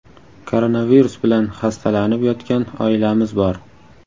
Koronavirus bilan xastalanib yotgan oilamiz bor.